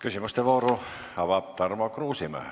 Küsimuste vooru avab Tarmo Kruusimäe.